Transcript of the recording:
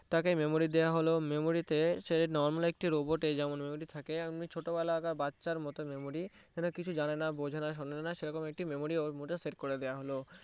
তাকে memory দেওয়া হলো সে memory তে normal একটি robot এ যেমন memory থাকে তেমনি ছোটবেলাকার বাচ্চার মতো memory এরা কিছু জানেনা বোঝেনা শোনেওনা সেরকম একটা memory ওর মধ্যে set করে দেওয়া হলো